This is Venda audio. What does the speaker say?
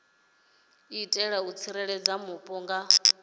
itela u tsireledza vhupo nga